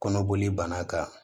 Kɔnɔboli banna ka